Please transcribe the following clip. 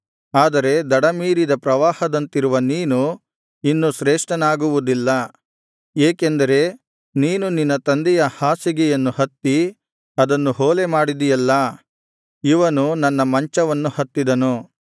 ಆದರೆ ದಡಮೀರಿದ ಪ್ರವಾಹದಂತಿರುವ ನೀನು ಇನ್ನು ಶ್ರೇಷ್ಠನಾಗುವುದಿಲ್ಲ ಏಕೆಂದರೆ ನೀನು ನಿನ್ನ ತಂದೆಯ ಹಾಸಿಗೆಯನ್ನು ಹತ್ತಿ ಅದನ್ನು ಹೊಲೆ ಮಾಡಿದಿಯಲ್ಲಾ ಇವನು ನನ್ನ ಮಂಚವನ್ನು ಹತ್ತಿದನು